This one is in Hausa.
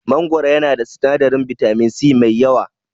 Mangoro yana da sinadarin bitamin C mai yawa.